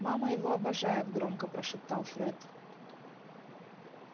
мама его обожает громко прошептал фред